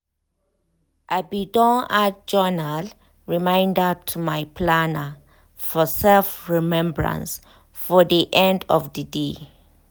i be don add journal reminder to my planner for self-remebrance for de end of de dey.